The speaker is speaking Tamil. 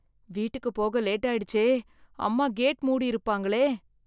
வீட்டுக்கு போக லேட் ஆயிடுச்சே அம்மா கேட் மூடி இருப்பாங்களே.